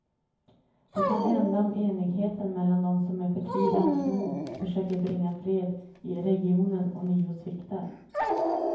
Det kan hända om enigheten mellan dem som med förtvivlans mod försöker bringa fred i regionen ånyo sviktar.